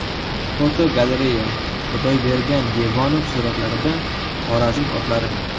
Fotogalereya: Xudoybergan Devonov suratlarida Xorazm otlari.